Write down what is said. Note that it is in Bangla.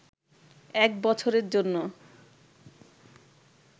এক বছরের জন্য